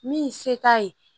Min ye se t'a ye